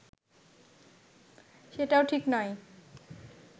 সেটাও ঠিক নয়